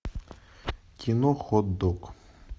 кино хот дог